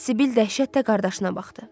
Sibil dəhşətlə qardaşına baxdı.